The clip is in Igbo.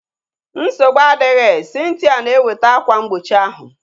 Nsogbu adịghị, Cynthia na eweta akwa mgbochi ahu